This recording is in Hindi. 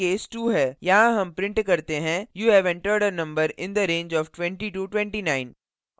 यहाँ हम print करते हैं you have entered a number in the range of 2029